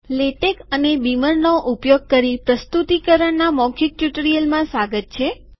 LaTeX અને બીમરનો ઉપયોગ કરી પ્રસ્તુતીકરણના મૌખીક ટ્યુટોરીયલમાં સ્વાગત છે